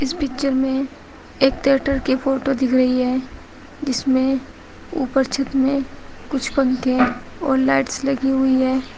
Picture में एक theatre की फोटो दिख रही है जिसमें ऊपर छत में कुछ पंखे हैं और लाइट्स लगी हुई है।